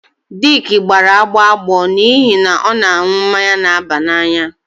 Dick gbara agbọ agbọ n'ihi na ọ na-aṅụ mmanya na-aba n'anya